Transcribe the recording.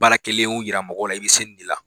Baara kɛlen yira mɔgɔw la, i bi se nin de la.